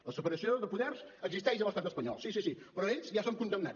la separació de poders existeix a l’estat espanyol sí sí sí però ells ja són condemnats